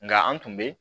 Nka an tun bɛ